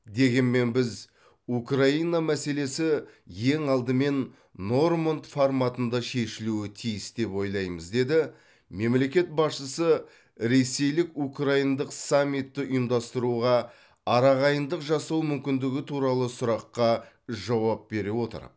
дегенмен біз украина мәселесі ең алдымен норманд форматында шешілуі тиіс деп ойлаймыз деді мемлекет басшысы ресейлік украиндық саммитті ұйымдастыруға арағайындық жасау мүмкіндігі туралы сұраққа жауап бере отырып